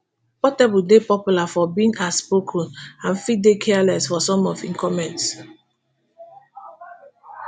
portable dey popular for being outspoken and fit dey careless for some of im comments